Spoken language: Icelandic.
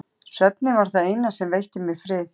Svefninn var það eina sem veitti mér frið.